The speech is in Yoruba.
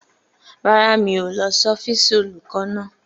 Rárá, mi ò lọ sí ọ́fíìsì olùkọ́ náà.